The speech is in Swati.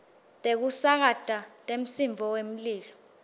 tekusakata temsindvo wemlilo